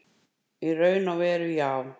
Í raun og veru já.